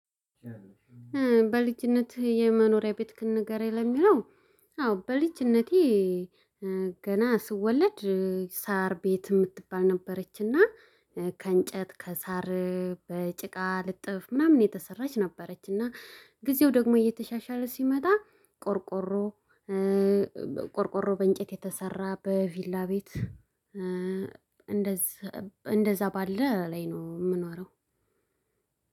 በልጅነትህ የመኖሪያ ቤት ክን ንገረኝ ለሚለው? አዎ በልጅነቴ ገና ስወለድ ሳር ቤት የምትባል ነበረችና ከእንጨት ከሳር በጭቃ ልጥፍ ምናምን የተሰራች ነበረች። እና ጊዜው ደግሞ እየተሻሻለ ሲመጣ ቆርቆሮ ቆርቆሮ በእንጨት የተሰራ በቪላ ቤት እንደዛ እንደዛ ባለ ላይ ነው የምኖረው።